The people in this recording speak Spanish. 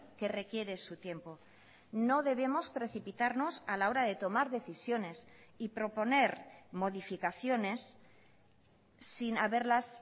que requiere su tiempo no debemos precipitarnos a la hora de tomar decisiones y proponer modificaciones sin haberlas